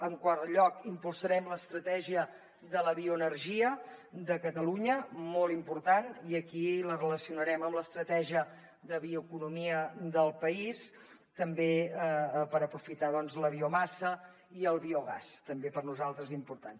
en quart lloc impulsarem l’estratègia de la bioenergia de catalunya molt important i aquí la relacionarem amb l’estratègia de bioeconomia del país també per aprofitar la biomassa i el biogàs també per nosaltres important